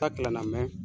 Ta gilan na mɛ